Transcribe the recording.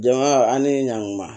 Jama an ni ɲankuma